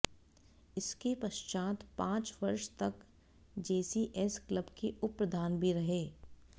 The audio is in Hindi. इसके पश्चात पांच वर्ष तक जेसीएस क्लब के उप प्रधान भी रहे